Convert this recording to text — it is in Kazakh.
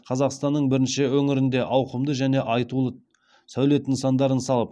қазақстаның бірінші өңірінде ауқымды және айтулы сәулет нысандарын салып